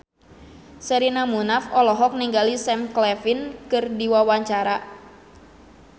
Sherina Munaf olohok ningali Sam Claflin keur diwawancara